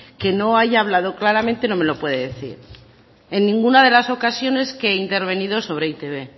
que no haya hablado claramente no me lo puede decir en ninguna de las ocasiones que he intervenido sobre e i te be